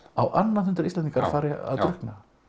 á annað hundrað Íslendinga drukkna